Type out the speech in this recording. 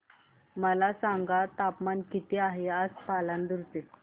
मला सांगा तापमान किती आहे आज पालांदूर चे